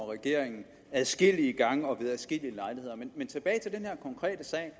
regeringen adskillige gange og ved adskillige lejligheder men tilbage til den her konkrete sag